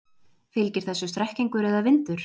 Fylgir þessu strekkingur eða vindur?